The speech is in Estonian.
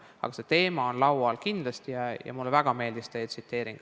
Aga see teema on kindlasti laual ja mulle väga meeldis teie tsiteering.